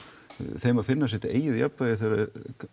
þeim að finna sitt eigið jafnvægi þegar það